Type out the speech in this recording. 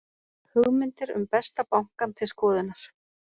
Hugmyndir um Besta bankann til skoðunar